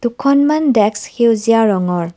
দুখন মান ডেস্ক সেউজীয়া ৰঙৰ।